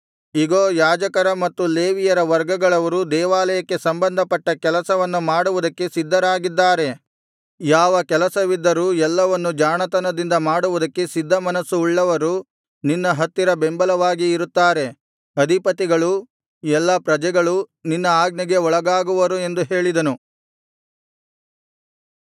ಇಗೋ ಯಾಜಕರ ಮತ್ತು ಲೇವಿಯರ ವರ್ಗಗಳವರು ದೇವಾಲಯಕ್ಕೆ ಸಂಬಂಧಪಟ್ಟ ಕೆಲಸವನ್ನು ಮಾಡುವುದಕ್ಕೆ ಸಿದ್ಧರಾಗಿದ್ದಾರೆ ಯಾವ ಕೆಲಸವಿದ್ದರೂ ಎಲ್ಲವನ್ನು ಜಾಣತನದಿಂದ ಮಾಡುವುದಕ್ಕೆ ಸಿದ್ಧಮನಸ್ಸು ಉಳ್ಳವರು ನಿನ್ನ ಹತ್ತಿರ ಬೆಂಬಲವಾಗಿ ಇರುತ್ತಾರೆ ಅಧಿಪತಿಗಳೂ ಎಲ್ಲಾ ಪ್ರಜೆಗಳೂ ನಿನ್ನ ಆಜ್ಞೆಗೆ ಒಳಗಾಗುವರು ಎಂದು ಹೇಳಿದನು